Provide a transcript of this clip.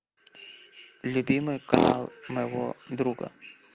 любимый канал моего друга